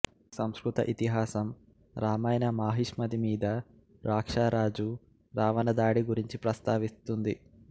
సంస్కృత ఇతిహాసం రామాయణ మాహిష్మతి మీద రాక్షా రాజు రావణ దాడి గురించి ప్రస్తావిస్తుంది